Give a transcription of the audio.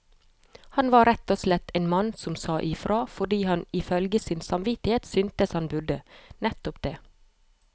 Han var rett og slett en mann som sa ifra, fordi han ifølge sin samvittighet syntes han burde nettopp det.